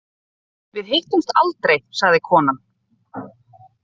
Við hittumst aldrei, sagði konan.